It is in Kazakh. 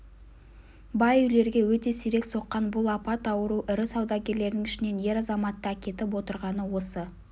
бай үйлерге өте сирек соққан бұл апат ауру ірі саудагерлердің ішінен ер-азаматты әкетіп отырғаны осы